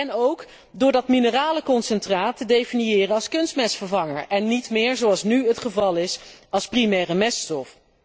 En ook door het mineralenconcentraat te definiëren als kunstmestvervanger en niet meer, zoals nu het geval is, als primaire meststof.